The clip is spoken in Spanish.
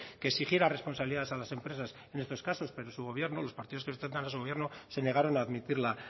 que exigiera responsabilidades a las empresas en estos casos pero su gobierno los partidos que sustentan a su gobierno se negaron a admitirla